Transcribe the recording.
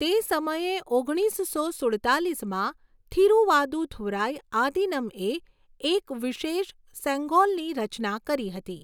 તે સમયે ઓગણીસસો સુડતાલીસમાં થિરુવાદુથુરાય આદીનમ્એ એક વિશેષ સેંગોલની રચના કરી હતી.